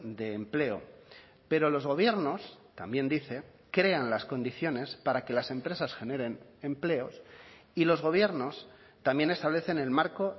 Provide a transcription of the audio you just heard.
de empleo pero los gobiernos también dice crean las condiciones para que las empresas generen empleos y los gobiernos también establecen el marco